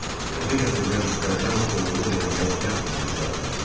Təzə gətirilən itlərdən oğurluq eləməyə cəhd də göstərmirdi.